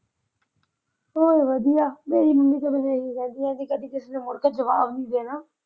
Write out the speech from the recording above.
ਹੋਰ ਵਧੀਆ। ਮੇਰੀ ਮੰਮੀ ਸਾਨੂੰ ਇਹੀ ਕਹਿੰਦੀ ਆ ਕਿ ਕਦੀ ਕਿਸੇ ਨੂੰ ਮੁੜ ਕੇ ਜਵਾਬ ਦੇਣਾ।